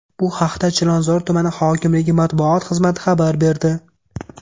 Bu haqda Chilonzor tuman hokimligi matbuot xizmati xabar berdi .